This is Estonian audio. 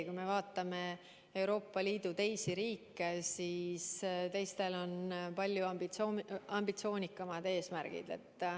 Kui me vaatame Euroopa Liidu teisi riike, siis teistel on palju ambitsioonikamad eesmärgid.